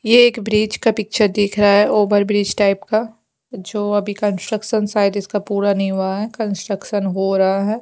ये एक ब्रिज का पिक्चर दिख रहा है ओवर ब्रिज टाइप का जो अभी कंस्ट्रक्शन शायद इसका पूरा नहीं हुआ है कंस्ट्रक्शन हो रहा है।